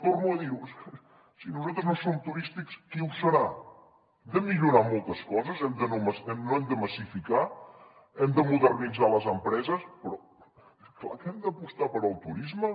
torno a dir ho si nosaltres no som turístics qui ho serà hem de millorar moltes coses no hem de massificar hem de modernitzar les empreses però clar que hem d’apostar pel turisme